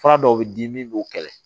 Fura dɔw bɛ di min b'o kɛlɛ